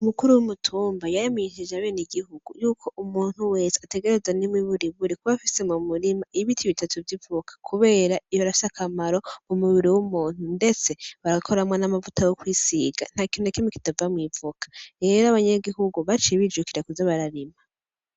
Umukuru w’umutumba yaremesheje abanyagihugu yuko umuntu wese ategerezwa n’imiburiburi kuba afise mu murima ibiti bitatu vy’ivoka kubera birafise akamaro mu mubiri w’umuntu, ndetse barakoramwo amavuta yo kwisiga , nta kintu na kimwe kitava mw’ivoka . Rero abanyagihugu baciye bijukira kuza bararima.